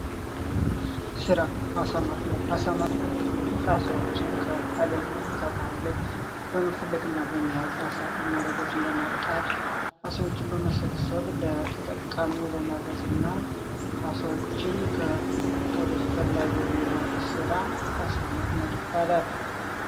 ስራ አሳ ማጥመድ አሳ ማጥመድ እንግዲህ አሳዎችን ከዉሃ ላይ ወይም ከባህር ላይ በመፈለግ እና በመያዝ መረቦችን በመጣል አሳዎችን በመሰብሰብ ለተጠቃሚው በማድረስ እና አሳዎችን ወደፈላጊው የማድረስ ስራ አሳ ማጥመድ ይባላል።